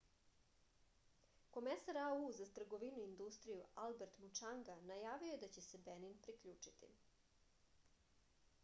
komesar au za trgovinu i industriju albert mučanga najavio je da će se benin priključiti